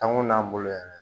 Dan kun b'an bolo yan dɛ